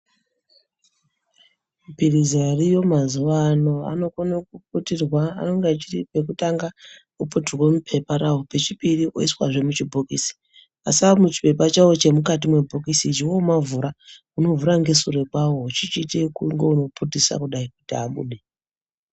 Mapirizi ariyo mazuwa anoputirwa anenge echiti wekutanga oputirwa mupepa rawo pechipiri oiswa mubhokisi asi ari muchipepa chaiwo chiri mukati mebhokisi womavhura unovhura nesure kwawo uchiira kunge uno putisa kudai kuti abude.